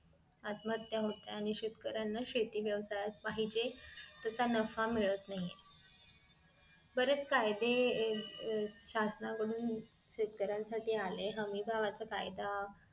आत्महत्या होते आणि शेतकऱ्याना शेती व्यवसायात पाहिजे तसा नफा मिळत नाही बरेच कायदे अह शासनाकडून शेतकऱ्यानं साठी आले हमी भावाचा कायदा